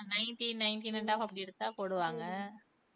ஆஹ் nineteen nineteen அப்படி எடுத்தா போடுவாங்க